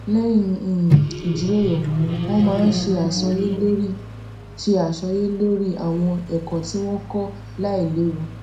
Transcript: léyìn um ijiroro wón maa n se àsọyé lori se àsọyé lori àwọn èkó tí wón kó lailéwu